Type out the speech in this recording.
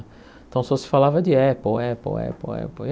Então só se falava de Apple, Apple, Apple, Apple.